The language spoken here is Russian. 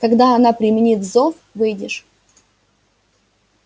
когда она применит зов выйдешь